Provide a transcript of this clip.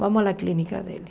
Vamos à clínica dele.